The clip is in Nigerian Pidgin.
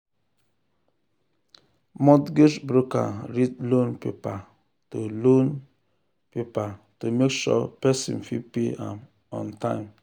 mortgage broker read loan paper to loan paper to make sure person fit pay am on time.